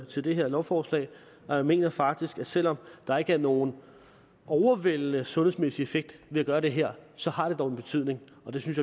til det her lovforslag og jeg mener faktisk at selv om der ikke er nogen overvældende sundhedsmæssig effekt ved at gøre det her så har det dog en betydning og det synes